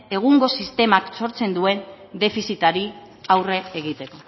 egungo sistemak sortzen duen defizitari aurre egiten